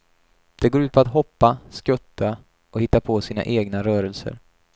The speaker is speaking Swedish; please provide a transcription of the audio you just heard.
Det går ut på att hoppa, skutta och hitta på sina egna rörelser.